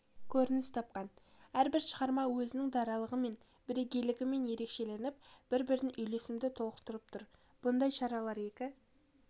көрініс тапқан әрбір шығарма өзінің даралығымен бірегейлігімен ерекшеленіп бір-бірін үйлесімді толықтырып тұр мұндай шаралар екі